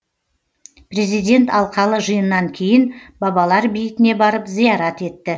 президент алқалы жиыннан кейін бабалар бейітіне барып зиярат етті